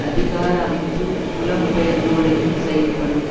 அதிகார அமைப்பு புலம் பெயர்ந்தோரையும் செயல்படும்